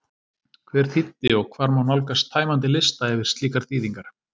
Hver þýddi og hvar má nálgast tæmandi lista yfir slíkar þýðingar?